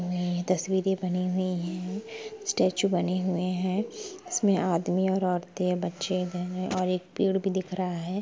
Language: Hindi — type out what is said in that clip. तस्वीरे बनी हुई है स्टैचू बने हुवे है| इसमे आदमी औरते बच्चे दिख और एक पेड भी दिख रहा है।